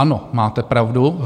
Ano, máte pravdu.